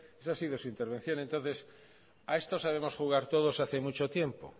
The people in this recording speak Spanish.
esa ha sido su intervención entonces a esto sabemos jugar todos hace mucho tiempo